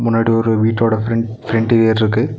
முன்னாடி ஒரு வீட்டோட ஃபிரெண்ட் ஃபிரெண்ட்லேருக்கு .